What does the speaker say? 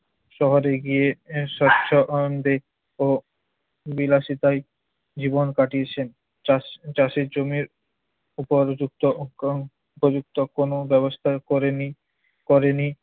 শহরে গিয়ে আহ স্বচ্ছন্দে ও বিলাসিতায় জীবন কাটিয়েছেন। চাষ~ চাষের জমির উপর যুক্ত উপযুক্ত কোন ব্যবস্থা করেনি~ করেনি।